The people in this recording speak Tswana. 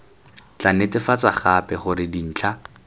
tla netefatsa gape gore dintlha